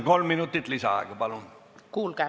Kolm minutit lisaaega, palun!